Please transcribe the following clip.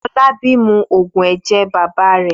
Fọlábí mu òògùn ẹ̀jẹ̀ bàbá rẹ̀.